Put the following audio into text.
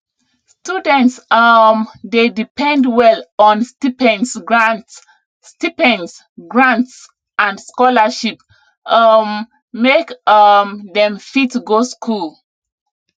students um dey depend well on stipends grants stipends grants and scholarship um make um dem fit go school